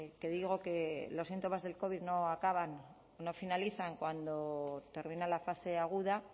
que digo que los síntomas del covid no finalizan cuando termina la fase aguda